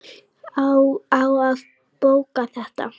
Á að bóka þetta?